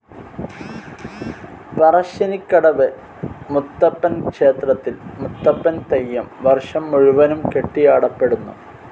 പറശ്ശിനിക്കടവ് മുത്തപ്പൻ ക്ഷേത്രത്തിൽ മുത്തപ്പൻ തെയ്യം വർഷം മുഴുവനും കെട്ടിയാടപ്പെടുന്നു.